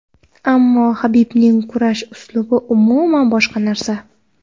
Ammo Habibning kurash uslubi umuman boshqa narsa.